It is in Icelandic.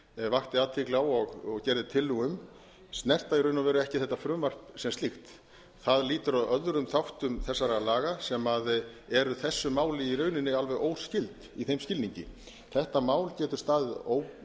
vakti athygli á og gerði tillögu um snerta í raun og veru ekki þetta frumvarp sem slíkt það lýtur að öðrum þáttur þessara laga sem eru þessu máli í rauninni alveg óskyld í þeim skilningi þetta mál getur staðið